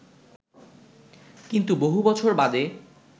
কিন্তু বহু বছর বাদে